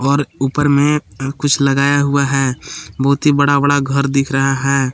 और ऊपर में अह कुछ लगाया हुआ है बहुत ही बड़ा बड़ा घर दिख रहा है।